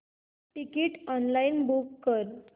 ticket online book कर